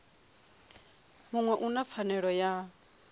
muṅwe u na pfanelo ya